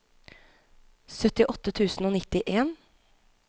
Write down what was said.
syttiåtte tusen og nittien